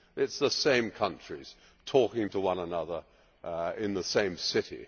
It is the same countries talking to one another in the same city.